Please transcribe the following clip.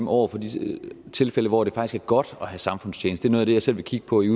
over for de tilfælde hvor det faktisk er godt at have samfundstjeneste er noget af det jeg selv vil kigge på i